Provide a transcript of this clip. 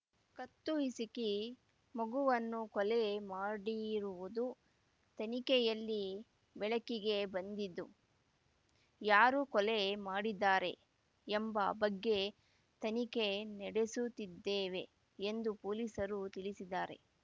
ಕತ್ತು ಹಿಸುಕಿ ಮಗುವನ್ನು ಕೊಲೆ ಮಾಡಿರುವುದು ತನಿಖೆಯಲ್ಲಿ ಬೆಳಕಿಗೆ ಬಂದಿದ್ದು ಯಾರು ಕೊಲೆ ಮಾಡಿದ್ದಾರೆ ಎಂಬ ಬಗ್ಗೆ ತನಿಖೆ ನಡೆಸುತ್ತಿದ್ದೇವೆ ಎಂದು ಪೊಲೀಸರು ತಿಳಿಸಿದ್ದಾರೆ